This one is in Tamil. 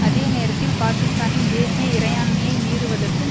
அதே நேரத்தில் பாக்கிஸ்தானின் தேசிய இறையாண்மையை மீறுவதற்கும்